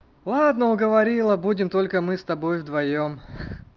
ладно уговорила будем только мы с тобой вдвоём